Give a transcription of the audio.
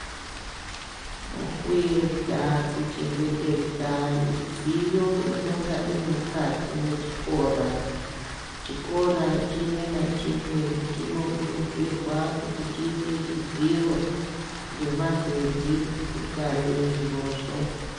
Mukuedza kuchengetedza midziyo inenge iri mukati mwechikora, chikora chimwe nachimwe chinokurudzirwa kuti chiise dziro nemagedhi kungwarira zvirozvo.